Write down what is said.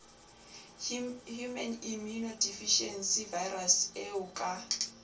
human immunodeficiency virus eo ka